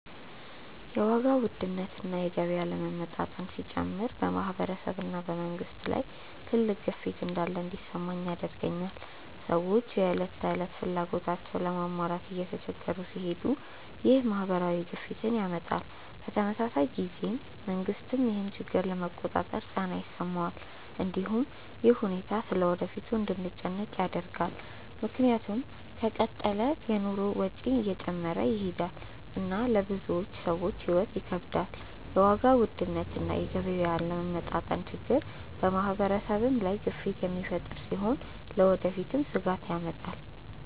የዋጋ ውድነት እና የገቢ አለመመጣጠን ሲጨምር በማህበረሰብ እና በመንግስት ላይ ትልቅ ግፊት እንዳለ እንዲሰማኝ ያደርገኛል። ሰዎች የዕለት ተዕለት ፍላጎታቸውን ለመሟላት እየተቸገሩ ሲሄዱ ይህ ማህበራዊ ግፊትን ያመጣል። በተመሳሳይ ጊዜ መንግስትም ይህን ችግር ለመቆጣጠር ጫና ይሰማዋል። እንዲሁም ይህ ሁኔታ ስለ ወደፊቱ እንድንጨነቅ ያደርጋል፣ ምክንያቱም ከተቀጠለ የኑሮ ወጪ እየጨመረ ይሄዳል እና ለብዙ ሰዎች ሕይወት ይከብዳል። የዋጋ ውድነት እና የገቢ አለመመጣጠን ችግር በማህበረሰብ ላይ ግፊት የሚፈጥር ሲሆን ለወደፊትም ስጋት ያመጣል።